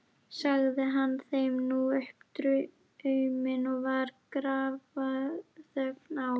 Sagði hann þeim nú upp drauminn og var grafarþögn á.